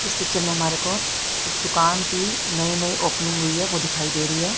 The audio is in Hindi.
इस पिक्चर में हमारे को एक दुकान की नई नई ओपनिंग हुई हैं वो दिखाई दे रही है।